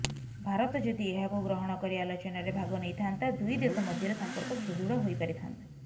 ଭାରତ ଯଦି ଏହାକୁ ଗ୍ରହଣ କରି ଆଲୋଚନାରେ ଭାଗନେଇଥାନ୍ତା ଦୁଇଦେଶ ମଧ୍ୟରେ ସଂପର୍କ ସୁଦୃଢ଼ ହୋଇପାରିଥାନ୍ତା